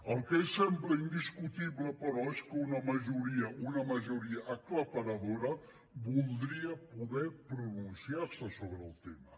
el que sembla indiscutible però és que una majoria una majoria aclaparadora voldria poder pronunciar se sobre el tema